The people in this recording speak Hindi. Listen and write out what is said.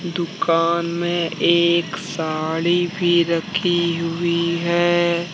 दुकान में एक साड़ी भी रखी हुई है।